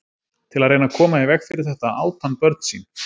Til að reyna að koma í veg fyrir þetta át hann börn sín.